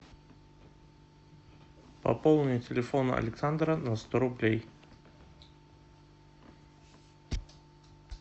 пополни телефон александра на сто рублей